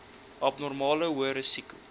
abnormale hoë risiko